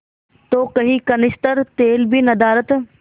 तो कई कनस्तर तेल भी नदारत